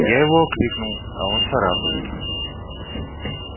я его окликнул а он царапает